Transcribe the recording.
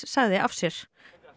sagði af sér